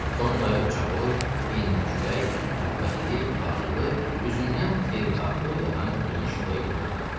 Tom dayı ucaboy, enli kürək, qüvvətli, ağıllı, üzündən xeyirxahlıq yağan geniş ürəkli bir adam idi.